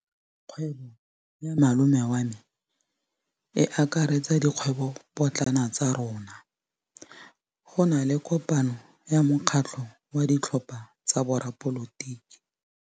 Kgwêbô ya malome wa me e akaretsa dikgwêbôpotlana tsa rona. Go na le kopanô ya mokgatlhô wa ditlhopha tsa boradipolotiki.